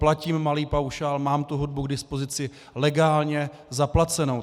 Platím malý paušál, mám tu hudbu k dispozici legálně zaplacenou.